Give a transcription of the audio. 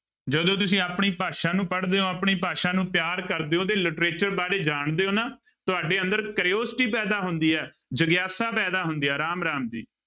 ਜਦੋਂ ਤੁਸੀਂ ਆਪਣੀ ਭਾਸ਼ਾ ਨੂੰ ਪੜ੍ਹਦੇ ਹੋ ਆਪਣੀ ਭਾਸ਼ਾ ਨੂੰ ਪਿਆਰ ਕਰਦੇ ਹੋ, ਉਹਦੇ literature ਬਾਰੇ ਜਾਣਦੇ ਹੋ ਨਾ, ਤੁਹਾਡੇ ਅੰਦਰ curiosity ਪੈਦਾ ਹੁੰਦੀ ਹੈ, ਜਗਿਆਸਾ ਪੈਦਾ ਹੁੰਦੀ ਹੈ ਰਾਮ ਰਾਮ ਜੀ।